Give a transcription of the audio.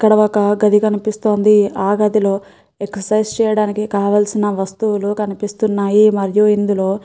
ఇక్కడ ఒక గది కనిపిస్తుంది ఆ గదిలో ఎక్సర్సిస్ చేయడానికి కావల్సిన వస్తువులు కనిపిస్తున్నాయి మరియు ఇందులో --